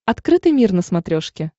открытый мир на смотрешке